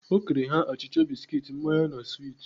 O kere ha achịcha, biskit, mmanya na swit.